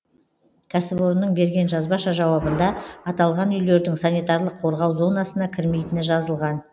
кәсіпорынның берген жазбаша жауабында аталған үйлердің санитарлық қорғау зонасына кірмейтіні жазылған